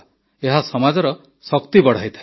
ଏହା ସମାଜର ଶକ୍ତି ବଢ଼ାଇଥାଏ